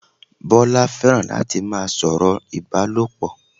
Bọ́lá fẹ́ràn láti má a sọ̀rọ̀ Ìbálòpọ̀